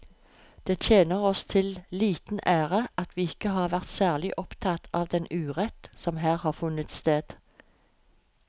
Det tjener oss til liten ære at vi ikke har vært særlig opptatt av den urett som her har funnet sted.